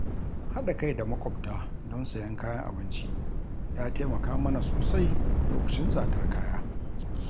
Haɗa kai da maƙwabta don sayen kayan abinci ya taimaka mana sosai lokacin tsadar kaya.